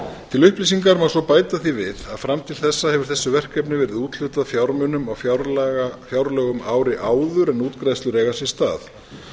til upplýsinga má svo bæta því við að fram til þessa hefur þessu verkefni verið úthlutað fjármunum á fjárlögum ári áður en útgreiðslur eiga sér stað